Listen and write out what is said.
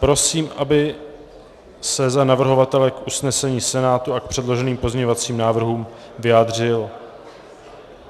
Prosím, aby se za navrhovatele k usnesení Senátu a k předloženým pozměňovacím návrhům vyjádřil...